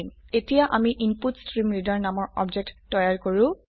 এতিয়া আমি ইনপুটষ্ট্ৰীমৰিডাৰ নামৰ অবজেক্ট তৈয়াৰ কৰো